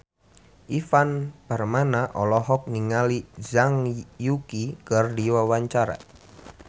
Ivan Permana olohok ningali Zhang Yuqi keur diwawancara